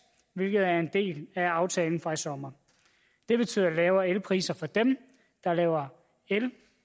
hvilket er en del af aftalen fra i sommer det betyder lavere elpriser for dem der laver el